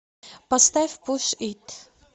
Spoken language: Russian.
поставь пуш ит